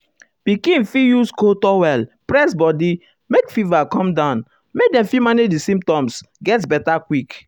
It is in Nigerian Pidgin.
pikin fit use cold towel press body make fever come down make dem fit manage di symptoms get beta quick.